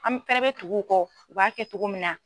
An fɛrɛ bɛ tugu u kɔ u b'a kɛ cogo min na.